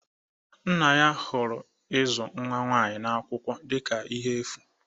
Nna ya hụrụ ịzụ nwa nwanyị n'akwụkwọ dịka ihe efu